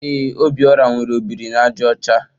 Ee, Obiora nwere ọ biri na àjà ọcha.